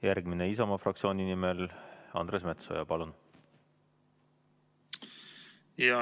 Järgmisena Isamaa fraktsiooni nimel Andres Metsoja, palun!